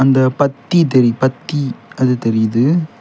இந்தப் பத்தி தெரி பத்தி அது தெரியுது.